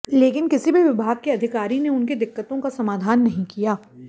लेकिन किसी भी विभाग के अधिकारी ने उनकी दिक्कतों का समाधान नहीं किया